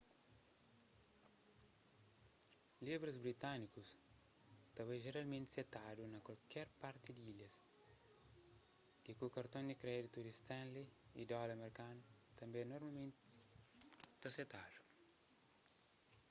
libras britânikus ta bai jeralmenti setadu na kualker parti di ilhas y ku karton di kréditu di stanley y dóla merkanu tanbê normalmenti ta setadu